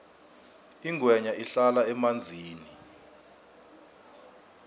ingwenya ihlala emanzini